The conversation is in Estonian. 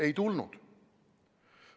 Ei tulnud.